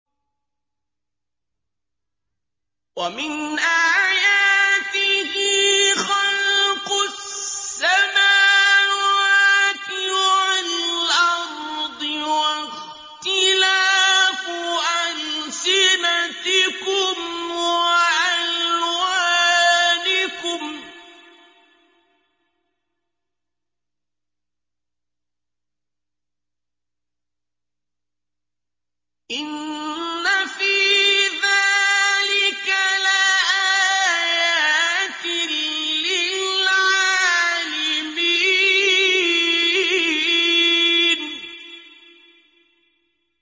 وَمِنْ آيَاتِهِ خَلْقُ السَّمَاوَاتِ وَالْأَرْضِ وَاخْتِلَافُ أَلْسِنَتِكُمْ وَأَلْوَانِكُمْ ۚ إِنَّ فِي ذَٰلِكَ لَآيَاتٍ لِّلْعَالِمِينَ